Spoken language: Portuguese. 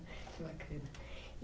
Que bacana.